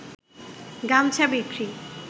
গামছা বিক্রি